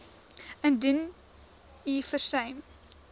indien u versuim